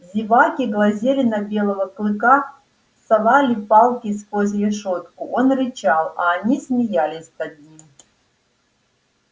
зеваки глазели на белого клыка совали палки сквозь решётку он рычал а они смеялись над ним